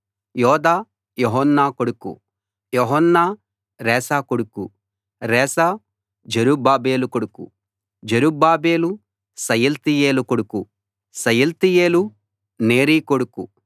యోదా యోహన్న కొడుకు యోహన్న రేసా కొడుకు రేసా జెరుబ్బాబెలు కొడుకు జెరుబ్బాబెలు షయల్తీయేలు కొడుకు షయల్తీయేలు నేరి కొడుకు